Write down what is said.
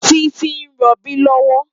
Titi n ròbí lòwò